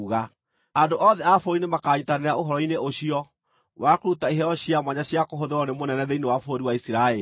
Andũ othe a bũrũri nĩmakanyiitanĩra ũhoro-inĩ ũcio wa kũruta iheo cia mwanya cia kũhũthĩrwo nĩ mũnene thĩinĩ wa bũrũri wa Isiraeli.